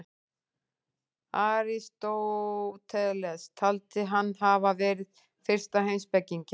Aristóteles taldi hann hafa verið fyrsta heimspekinginn.